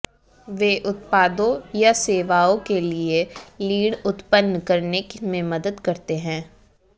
वे उत्पादों या सेवाओं के लिए लीड उत्पन्न करने में मदद करते हैं